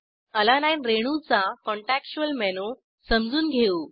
अलानीने रेणूचा contextual menu समजून घेऊ